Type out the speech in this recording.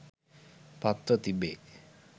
පත්ව තිබේ